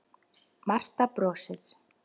Marta brosir.